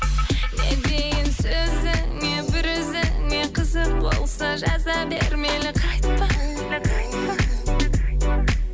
не дейін сөзіңе бір өзіңе қызық болса жаза бер мейлі қайтпа